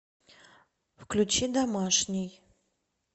включи домашний